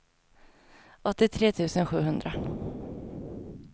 åttiotre tusen sjuhundra